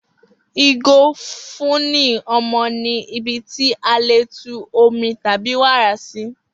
Igo ifunni ọmọ ni ibi ti a le tú omi tabi wara si